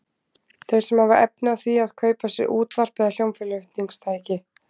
Þeir sem hafa efni á því að kaupa sér útvarp eða hljómflutningstæki.